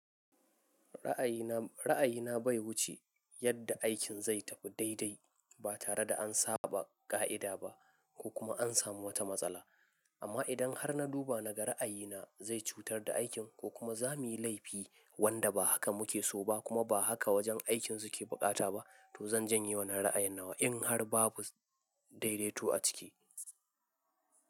Ra'ayina, ra'ayina bai wuce yanda aikin zai tafi daidai ba tare da an saɓa ƙa'ida ba ko kuma an samu wata matsala. Amma idan har na duba naga ra'ayina zai cutar da aikin ko kuma za muyi laifi wanda ba haka muke so ba kuma ba haka wajen aikin suke buƙata ba, to zan janye wannan ra'ayin nawa in har babu daidaito a ciki.